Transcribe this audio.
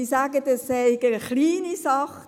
Sie sagen, es sei eine kleine Sache.